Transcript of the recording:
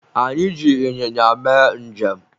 anyị ji ịnyịnya mee njem